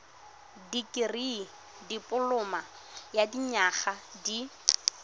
dikirii dipoloma ya dinyaga di